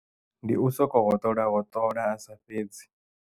Ndi u soko hoṱola hoṱola asa fhedzi.